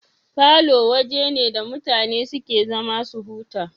Falo waje ne da mutane suke zama su huta